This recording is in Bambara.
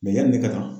yanni ne ka kan